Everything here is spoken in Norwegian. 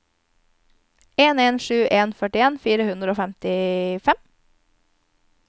en en sju en førtien fire hundre og femtifem